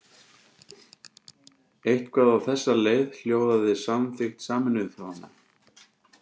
Eitthvað á þessa leið hljóðaði samþykkt Sameinuðu þjóðanna.